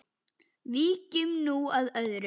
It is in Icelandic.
Víkjum nú að öðru.